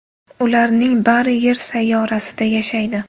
Ularning bari Yer sayyorasida yashaydi.